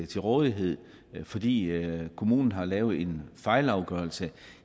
til rådighed fordi kommunen har lavet en fejlafgørelse